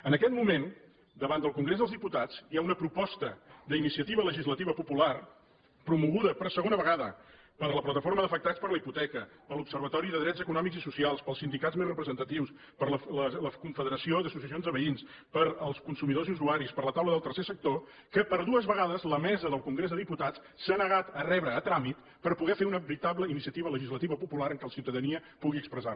en aquest moment davant del congrés dels diputats hi ha una proposta d’iniciativa legislativa popular promoguda per segona vegada per la plataforma d’afectats per la hipoteca per l’observatori de drets econòmics i socials pels sindicats més representatius per la confederació d’associacions de veïns pels consumidors i usuaris per la taula del tercer sector que per dues vegades la mesa del congrés dels diputats s’ha negat a rebre a tràmit per poder fer una veritable iniciativa legislativa popular en què la ciutadania pugui expressar se